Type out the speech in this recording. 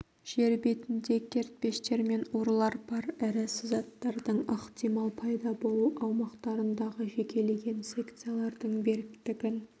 жер бетінде кертпештер мен орлар бар ірі сызаттардың ықтимал пайда болу аумақтарындағы жекелеген секциялардың беріктігін